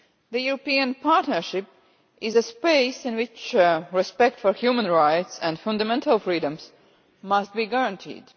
The European partnership is a space in which respect for human rights and fundamental freedoms must be guaranteed.